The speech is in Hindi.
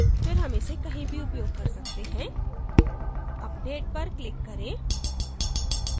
फिर हम इसे कहीं भी उपयोग कर सकते हैं update पर click करें